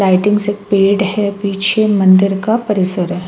से पेड़ है पीछे मंदिर का परिसर है।